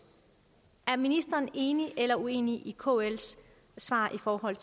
er ministeren enig eller uenig i kls svar i forhold